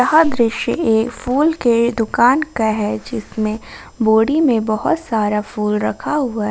यह दृश्य एक फूल के दुकान का है जिसमें बोडी में बहोत सारा फुल रखा हुआ है ।